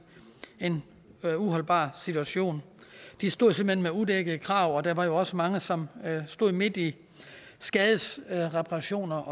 en uholdbar situation de stod simpelt hen med udækkede krav og der var jo også mange som stod midt i skadesreparationer